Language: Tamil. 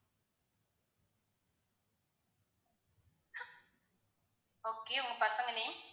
okay உங்க பசங்க name